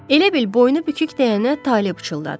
Elə bil boynu bükük deyənə Talib pıçıldadı.